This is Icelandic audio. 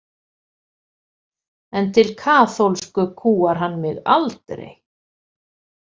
En til kaþólsku kúgar hann mig aldrei!